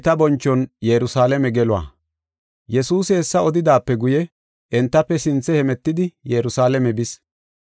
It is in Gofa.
Yesuusi hessa odidaape guye, entafe sinthe hemetidi Yerusalaame bis.